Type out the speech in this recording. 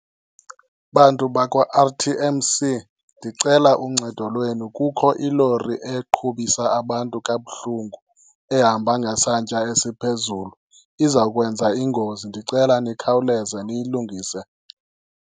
Bantu bakwa-R_T_M_C ndicela uncedo lwenu. Kukho ilori eqhubisa abantu kabuhlungu ehamba ngesantya esiphezulu, izawukwenza ingozi. Ndicela nikhawuleze niyilungise.